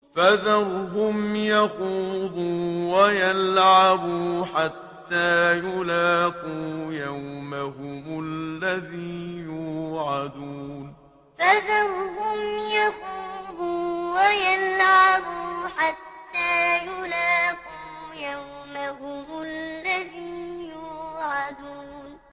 فَذَرْهُمْ يَخُوضُوا وَيَلْعَبُوا حَتَّىٰ يُلَاقُوا يَوْمَهُمُ الَّذِي يُوعَدُونَ فَذَرْهُمْ يَخُوضُوا وَيَلْعَبُوا حَتَّىٰ يُلَاقُوا يَوْمَهُمُ الَّذِي يُوعَدُونَ